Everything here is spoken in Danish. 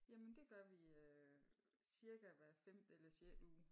Jamen det gør vi øh cirka hver femte eller sjette uge